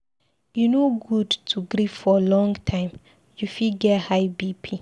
E no good to grief for long time, you fit get BP.